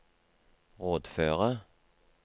rådføre